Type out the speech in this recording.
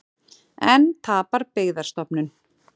Enn tapar Byggðastofnun